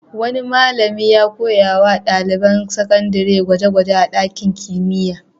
Wani malami ya koya wa ɗaliban sakandare gwaje-gwaje a ɗakin kimiyya.